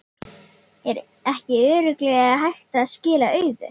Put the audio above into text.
Er ekki örugglega hægt að skila auðu?